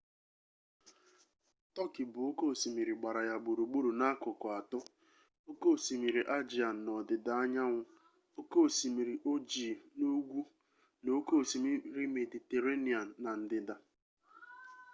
tọkị bụ oke osimiri gbara ya gburugburu n'akụkụ atọ oke osimiri aegean n'ọdịdaanyanwụ oke osimiri ojii n'ugwu na oke osimiri mediterranean na ndịda